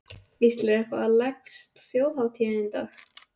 Gísli: En hvernig leggst Þjóðhátíðin í þig?